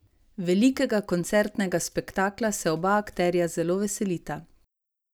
Velikega koncertnega spektakla se oba akterja zelo veselita.